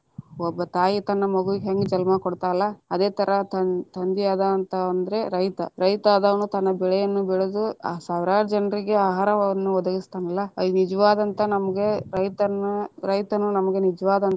ಒಬ್ಬ ತಾಯಿ ತನ್ನ ಮಗುವಿಗ ಹೆಂಗ ಜನ್ಮ ಕೊಡ್ತಾಳಲ್ಲಾ, ಅದೆ ತರಾ ತಂ~ ತಂದಿ ಆದವ ಅಂತಂದ್ರೆ ರೈತ ರೈತ, ಅದಾವಾ ತನ್ನ ಬೆಳೆಯನ್ನ ಬೆಳೆದು ಸಾವಿರಾರ ಜನರಿಗೆ ಆಹಾರವನ್ನು ಒದಗಿಸ್ತಾನಲ್ಲಾ ಅಲ್ಲಿ ನಿಜವಾದಂತ ನಮಗ ರೈತನ~ ರೈತನು ನಮ್ಗ ನಿಜವಾದಂತ.